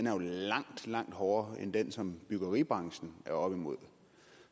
er langt langt hårdere end den som byggebranchen er oppe imod